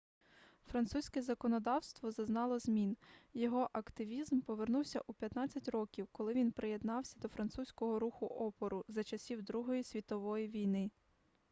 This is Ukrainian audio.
французьке законодавство зазнало змін його активізм повернувся у 15 років коли він приєднався до французького руху опору за часів другої світової війни